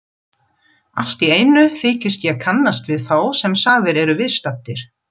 Alltíeinu þykist ég kannast við þá sem sagðir eru viðstaddir.